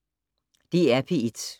DR P1